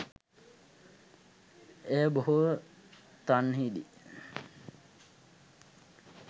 එය බොහෝ තන්හිදී